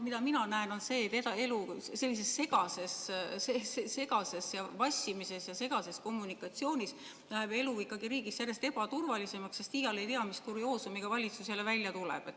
Mida mina näen, on see, et sellise vassimise ja segase kommunikatsiooniga läheb elu riigis ikkagi järjest ebaturvalisemaks, sest iial ei tea, mis kurioosumiga valitsus jälle välja tuleb.